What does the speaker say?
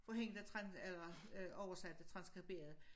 For hende der tran eller øh oversatte transskriberede